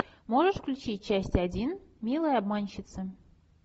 можешь включить часть один милые обманщицы